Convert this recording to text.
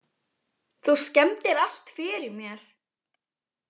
Þú skemmdir allt fyrir mér.